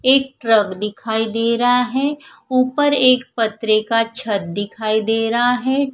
एक ट्रक दिखाई दे रहा है ऊपर एक पत्रे का छत दिखाई दे रहां है।